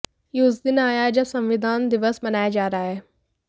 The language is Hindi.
यह उस दिन आया है जब संविधान दिवस मनाया जा रहा है